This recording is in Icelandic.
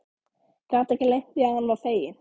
Gat ekki leynt því að hann var feginn.